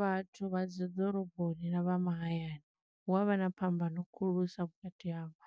Vhathu vha dzi ḓoroboni na vha mahayani hu avha na phambano khulusa vhukati havho,